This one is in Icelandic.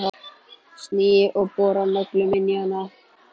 Sný og bora nöglunum inn í hann.